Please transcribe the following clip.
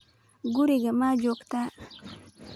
guriga ma joogtaa